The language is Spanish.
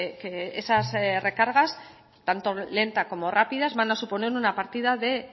que esas recargas tanto lentas como rápidas van a suponer una partida